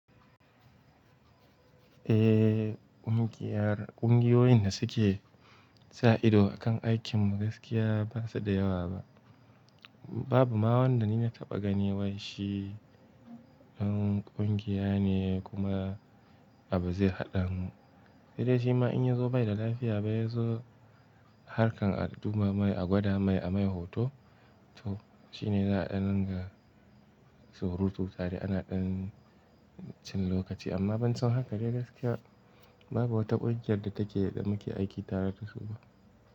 Eh, ƙungiyar ƙungiyoyin da suke sa ido a kan aikin mu gaskiya ba su da yawa ba. Babu ma wanda ni na taɓa gani wai shi dan ƙungiya ne kuma abu zai haɗa mu. Da dai shi ma in ya zo bai da lafiya ba ya zo harkar a ɗuba mai, a gwada mai, a mai hoto. To shi ne za a ɗan ringa surutu tare ana ɗan cin lokaci. Amma ban san haka dai gaskiya babu wata ƙungiyar da take da muke aiki tare da su ba.